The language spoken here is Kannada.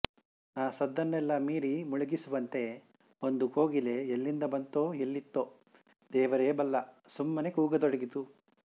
ಆ ಸದ್ದನ್ನೆಲ್ಲ ಮೀರಿ ಮುಳುಗಿಸುವಂತೆ ಒಂದು ಕೋಗಿಲೆ ಎಲ್ಲಿಂದ ಬಂತೋ ಎಲ್ಲಿತೋ ದೇವರೇ ಬಲ್ಲ ಸುಮ್ಮನೆ ಕೂಗತೊಡಗಿತು